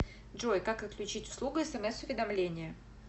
джой как отключить услугу смс уведомления